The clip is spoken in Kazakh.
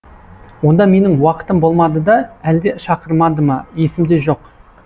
онда менің уақытым болмады да әлде шақырмады ма есімде жоқ